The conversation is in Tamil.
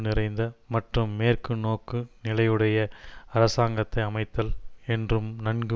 நிறைந்த மற்றும் மேற்குநோக்குநிலையுடைய அரசாங்கத்தை அமைத்தல் என்றும் நன்கு